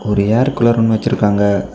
ஒரு air cooler ஒன்னு வச்சிருக்காங்க.